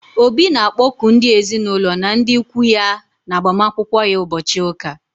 Obi na akpoku ndị ezinaụlọ na ndị ụkwụ ya na agbamakwụkwọ ya ụbọchị ụka